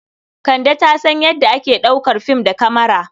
Kande ta san yadda ake ɗaukar fim da kamara.